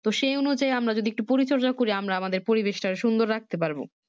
তো সেই অনুযায়ী আমরা যদি একটু পরিচর্যা করি আমরা আমাদের পরিবেশটাকে সুন্দর রাখতে পারবো